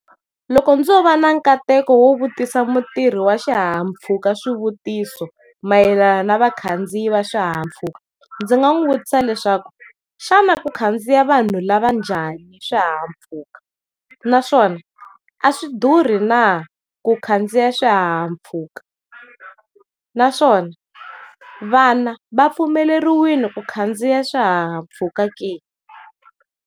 Loko dzo va na nkateko wo vutisa mutirhi wa xihahampfhuka swivutiso mayelana na vakhandziyi va xihahampfhuka ndzi] nga n'wi vutisa leswaku xana ku khandziya vanhu lava njhani xihahampfhuka naswona yo a swi durha na ku khandziya swihahampfhuka, naswona vana va pfumeleriwile ku khandziya swihahampfhuka.